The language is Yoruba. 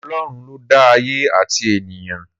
Ọlọ́run ló dá ayé àti ènìyàn